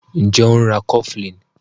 Njé o ń rá cofflin?